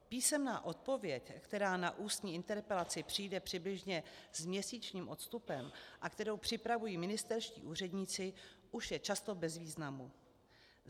Písemná odpověď, která na ústní interpelaci přijde přibližně s měsíčním odstupem a kterou připravují ministerští úředníci, už je často bez významu.